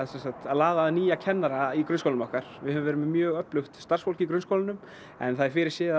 að laða að nýja kennara í grunnskólunum okkar við höfum verið með mjög öflugt starfsfólk í grunnskólum en það er fyrirséð að